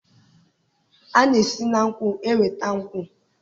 a na-esi na nkwụ enweta nkwụ